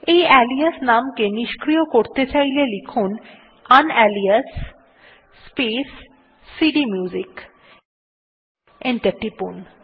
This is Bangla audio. এই আলিয়াস নাম কে নিস্ক্রিয় করতে চাইলে টাইপ করুন ইউনালিয়াস স্পেস সিডিএমইউজিক এবং এন্টার টিপুন